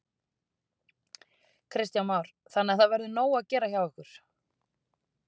Kristján Már: Þannig að það verður nóg að gera hjá ykkur?